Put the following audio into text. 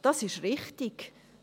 Das ist wichtig.